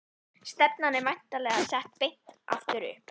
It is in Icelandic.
Stefnan er væntanlega sett beint aftur upp?